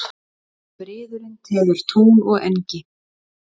Friðurinn teður tún og engi.